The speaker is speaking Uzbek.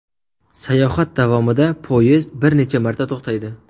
Sayohat davomida poyezd bir necha marta to‘xtaydi.